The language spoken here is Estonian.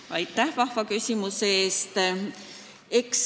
Aitäh vahva küsimuse eest!